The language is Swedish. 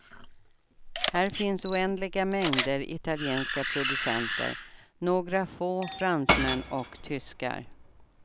Här finns oändliga mängder italienska producenter, några få fransmän och tyskar.